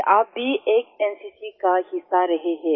कि आप भी एक एनसीसी का हिस्सा रहे हैं